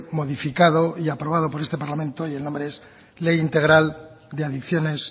modificado y aprobado por este parlamento y el nombre es ley integral de adicciones